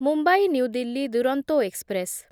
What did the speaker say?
Mumbai New Delhi Duronto express